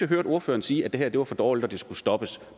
hørte ordføreren sige at det her var for dårligt og det skulle stoppes